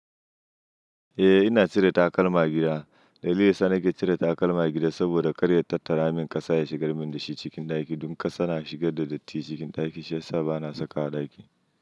Eh ina cire takalma a gida. Dalilin yasa nake cire takalma gida saboda karya tattara min ƙasa ya shigar min da shi cikin ɗakin. Dun ƙasa na shigar da datti cikin ɗaki shi ya sa ba na saka a ɗaki.